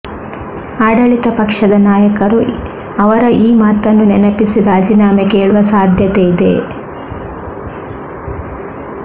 ಆಡಳಿತ ಪಕ್ಷದ ನಾಯಕರು ಅವರ ಈ ಮಾತನ್ನು ನೆನಪಿಸಿ ರಾಜೀನಾಮೆ ಕೇಳುವ ಸಾಧ್ಯತೆ ಇದೆ